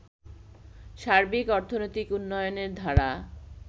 সার্বিক অর্থনৈতিক উন্নয়নের ধারা